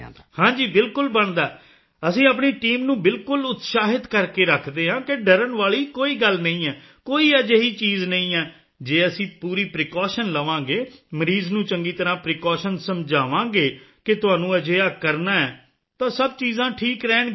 ਹਾਂ ਜੀ ਬਿਲਕੁਲ ਬਣਦਾ ਹੈ ਅਸੀਂ ਆਪਣੀ ਟੀਮ ਨੂੰ ਬਿਲਕੁਲ ਉਤਸ਼ਾਹਿਤ ਕਰਕੇ ਰੱਖਦੇ ਹਾਂ ਕਿ ਡਰਨ ਵਾਲੀ ਕੋਈ ਗੱਲ ਨਹੀਂ ਹੈ ਕੋਈ ਅਜਿਹੀ ਚੀਜ਼ ਨਹੀਂ ਹੈ ਜੇ ਅਸੀਂ ਪੂਰੀ ਪ੍ਰੀਕੌਸ਼ਨ ਲਵਾਂਗੇ ਮਰੀਜ਼ ਨੂੰ ਚੰਗੀ ਤਰ੍ਹਾਂ ਪ੍ਰੀਕੌਸ਼ਨ ਸਮਝਾਵਾਂਗੇ ਕਿ ਤੁਹਾਨੂੰ ਅਜਿਹਾ ਕਰਨਾ ਹੈ ਤਾਂ ਸਭ ਚੀਜ਼ਾਂ ਠੀਕ ਰਹਿਣਗੀਆਂ